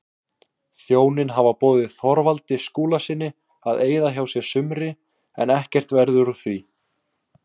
Hjónin hafa boðið Þorvaldi Skúlasyni að eyða hjá sér sumri en ekkert verður úr því.